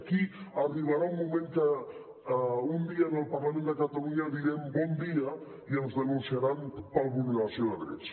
aquí arribarà un moment que un dia en el parlament de catalunya direm bon dia i ens denunciaran per vulneració de drets